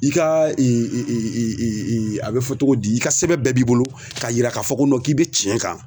I ka a bɛ fɔ cogo di i ka sɛbɛn bɛɛ b'i bolo k'a yira k'a fɔ ko k'i be tiɲɛ kan